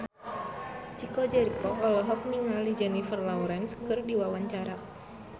Chico Jericho olohok ningali Jennifer Lawrence keur diwawancara